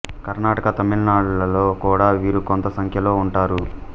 కర్ణాటక తమిళనాడు లలో కూడా వీరు కొంత సంఖ్యలో ఉంటారు